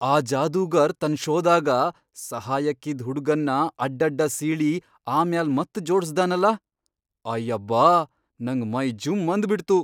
ಆ ಜಾದೂಗಾರ್ ತನ್ ಷೋದಾಗ ಸಹಾಯಕ್ಕಿದ್ ಹುಡ್ಗನ್ನ ಅಡ್ಡಡ್ಡ ಸೀಳಿ ಆಮ್ಯಾಲ್ ಮತ್ ಜೋಡಸ್ದಾನಲ.. ಅಯ್ಯಬ್ಯಾ! ನಂಗ್ ಮೈ ಜುಂ ಅಂದ್ಬಿಟ್ತು!